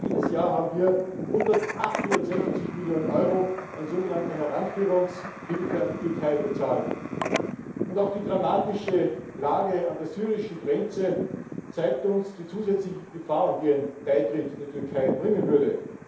Allein dieses Jahr haben wir 860 Millionen Euro an sogenannter Heranführungshilfe an die Türkei bezahlt. Auch die dramatische Lage an der syrischen Grenze zeigt uns die zusätzlichen Gefahren, die ein Beitritt der Türkei bringen würde.